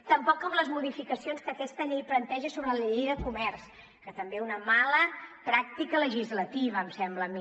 tampoc en les modificacions que aquesta llei planteja sobre la llei de comerç que també una mala pràctica legislativa em sembla a mi